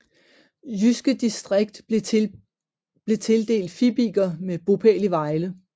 Jyske Distrikt blev tildelt Fibiger med bopæl i Vejle